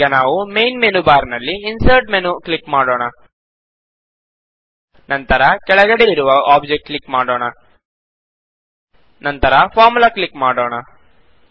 ಈಗ ನಾವು main menu bar ನಲ್ಲಿ ಇನ್ಸರ್ಟ್ ಮೆನು ಕ್ಲಿಕ್ ಮಾಡೋಣ ನಂತರ ಕೆಳಗಡೆ ಇರುವ ಆಬ್ಜೆಕ್ಟ್ ಕ್ಲಿಕ್ ಮಾಡೋಣ ನಂತರ ಫಾರ್ಮುಲಾ ಕ್ಲಿಕ್ ಮಾಡೋಣ